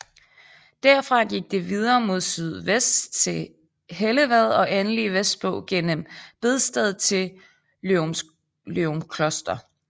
Derfra gik det videre mod sydvest til Hellevad og endelig vestpå gennem Bedsted til Løgumkloster